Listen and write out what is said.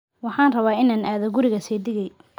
Waxaan rabaa inaan aado guriga seedigay